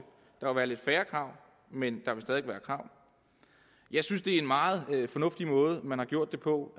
der vil være lidt færre krav men der vil stadig være krav jeg synes det er en meget fornuftig måde man har gjort det på